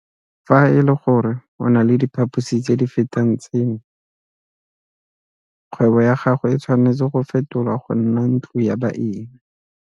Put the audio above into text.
Fa e le gore o na le diphaposi tse di fetang tseno, kgwebo ya gago e tshwanetse go fetolwa go nna ntlo ya baeng.